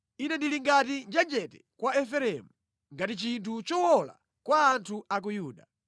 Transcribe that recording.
Ine ndili ngati njenjete kwa Efereimu, ngati chinthu chowola kwa anthu a ku Yuda.